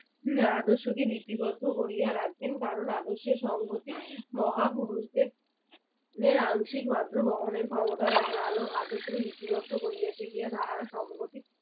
উম আদর্শকে লিপিবদ্ধ করিয়া রাখেন কারণ আদর্শের সংহতি মহাপুরুষদের আংশিক মাত্র বহনের ক্ষমতা রাখেন আলো~ আদর্শকে লিপিবদ্ধ করিয়েতে গিয়া তাহারা সংহতি